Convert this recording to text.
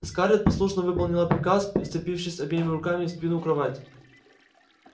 скарлетт послушно выполнила приказ вцепившись обеими руками в спину кровати